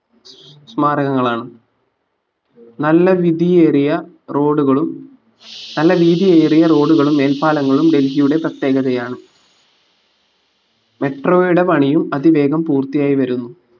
സ്മാരകങ്ങളാണ് നല്ലവിതിയേറിയ road കളും നല്ല വീതിയേറിയ road കളും മേൽപ്പാലങ്ങളും ഡൽഹിയുടെ പ്രത്യേഗതയാണ് metro യുടെ പണിയും അതിവേഗം പൂർത്തിയായി വരുന്നു